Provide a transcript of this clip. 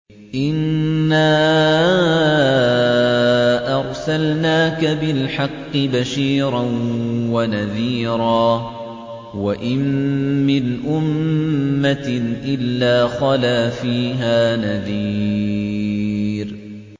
إِنَّا أَرْسَلْنَاكَ بِالْحَقِّ بَشِيرًا وَنَذِيرًا ۚ وَإِن مِّنْ أُمَّةٍ إِلَّا خَلَا فِيهَا نَذِيرٌ